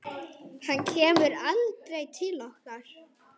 Hann kemur aldrei til okkar.